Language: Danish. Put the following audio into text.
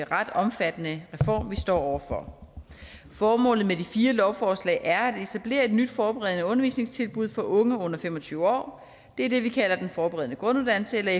ret omfattende reform vi står over for formålet med de fire lovforslag er at etablere et nyt forberedende undervisningstilbud for unge under fem og tyve år og det er det vi kalder den forberedende grunduddannelse eller